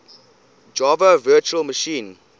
java virtual machine